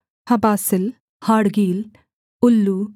हबासिल हाड़गील उल्लू